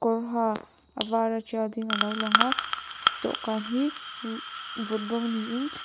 kawr ha a vara tial ding a lo langa dawhkan hi mmh vun rawng niin --